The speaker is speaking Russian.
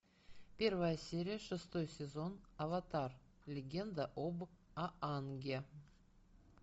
первая серия шестой сезон аватар легенда об аанге